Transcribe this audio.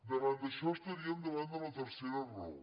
davant d’això estaríem davant de la tercera raó